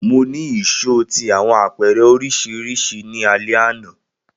Mo ni ìṣó ti awọn apẹrẹ oriṣiriṣi ni alẹ ana